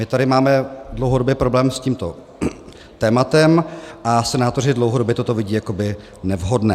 My tady máme dlouhodobě problém s tímto tématem a senátoři dlouhodobě toto vidí jako nevhodné.